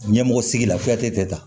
Ɲɛmɔgɔ sigi la tɛ taa